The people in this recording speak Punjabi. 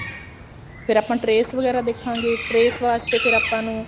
ਫ਼ੇਰ ਆਪਾਂ trace ਵਗੈਰਾ ਦੇਖਾਂਗੇ trace ਵਾਸਤੇ ਫ਼ੇਰ ਆਪਾਂ ਨੂੰ